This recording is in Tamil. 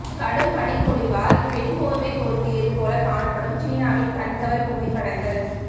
கடும் பனிப்பொழிவால் வெண் போர்வை போர்த்தியது போல காணப்படும் சீனாவின் கண்கவர் புகைப்படங்கள்